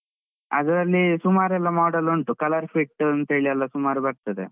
ಅದ್ರಲ್ಲಿ ಸುಮಾರೆಲ್ಲ model ಉಂಟು ColorFit ಅಂತ ಹೇಳಿ ಎಲ್ಲಾ ಸುಮಾರ್ ಬರ್ತದೆ.